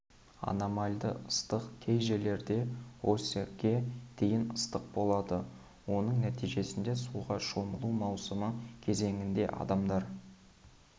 анамальды ыстық кей жерлерде ос-ге дейін ыстық болады оның нәтижесінде суға шомылу маусымы кезеңінде адамдар